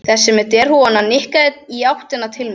Þessi með derhúfuna nikkaði í áttina til mín.